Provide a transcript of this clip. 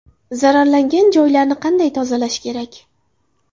Zararlangan joylarni qanday tozalash kerak?